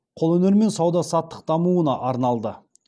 қолөнер мен сауда саттық дамуына арналды